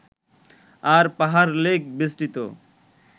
আর পাহাড়-লেক বেষ্টিত